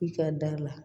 I ka da la